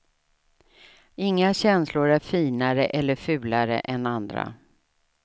Inga känslor är finare eller fulare än andra.